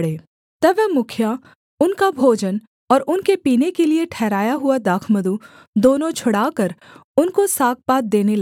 तब वह मुखिया उनका भोजन और उनके पीने के लिये ठहराया हुआ दाखमधु दोनों छुड़ाकर उनको सागपात देने लगा